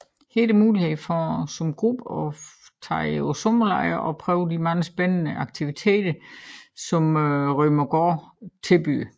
Her er der mulighed som gruppe for at tage på sommerlejr og prøve de mange spændende aktiviteter som Rømeregård tilbyder